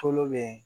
Tulo be